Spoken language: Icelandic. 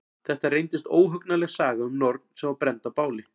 Þetta reyndist óhugnanleg saga um norn sem var brennd á báli.